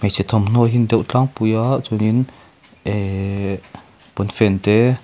hmeichhe thawmhnaw hi a ni deuh tlangpui a chuanin eeeehh pawnfen te--